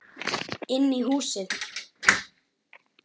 Inn í húsið?